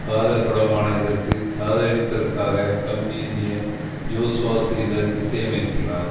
காதல் படமான இதற்கு காதலித்ததற்காக கம்பி எண்ணிய ஜோஸ்வா ஸ்ரீதர் இசையமைக்கிறார்